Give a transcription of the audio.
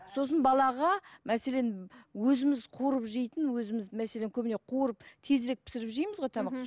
сосын балаға мәселен өзіміз қуырып жейтін өзіміз мәселен көбіне қуырып тезірек пісіріп жейміз ғой тамақ мхм